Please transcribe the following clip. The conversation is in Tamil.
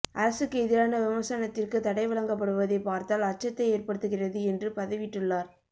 அரசுக்கு எதிரான விமர்சனத்திற்கு தடை வழங்கப்படுவதைப் பார்த்தால் அச்சத்தை ஏற்படுத்துகிறது என்று பதிவிட்டுள்ளார்